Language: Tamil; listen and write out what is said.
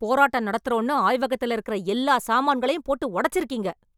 போராட்டம் நடத்தறோம்னு ஆய்வகத்துல இருக்கற எல்லா சாமான்களையும் போட்டு ஒடச்சிருக்கீங்க...